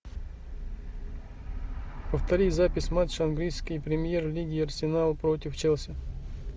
повтори запись матча английской премьер лиги арсенал против челси